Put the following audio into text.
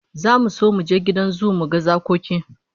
Zamu so mu je gidan zoo mu ga zakoki